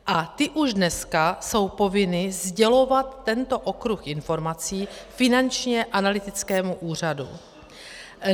A ty už dneska jsou povinny sdělovat tento okruh informací Finančnímu analytickému úřadu.